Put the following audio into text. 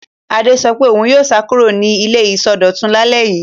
Adé sọ pé òun yóò sá kúrò ní ilé ìsọdọ̀tun lálẹ́ yìí.